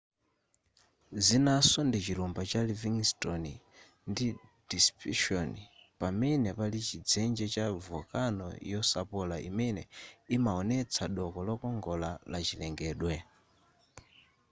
zinaso ndi chilumba cha livingston ndi deception pamene pali chidzenje cha volcano yosapola imene imaonesa doko lokongola la chilengedwe